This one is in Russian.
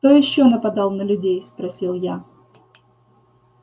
кто ещё нападал на людей спросил я